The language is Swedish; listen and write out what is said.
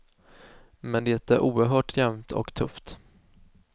Men det är oerhört jämnt och tufft.